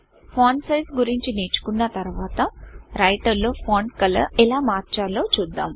font size గురించి నేర్చుకున్న తర్వాత రైటర్ లో ఫాంట్ కలర్ ఎలా మార్చాలో చూద్దాం